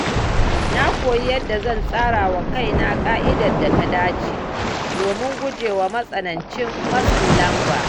Na koyi yadda zan tsara wa kaina ƙa’idar da ta dace, domin guje wa matsanancin matsin lamba.